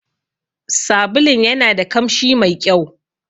Sabulun yanada kamshi mai ƙyau.